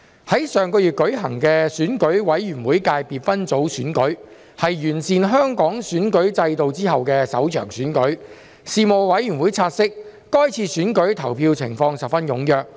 在上月舉行的選舉委員會界別分組選舉，是完善香港選舉制度後的首場選舉，事務委員會察悉，該次選舉投票情況十分踴躍。